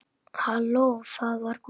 Halló, það var Gústi.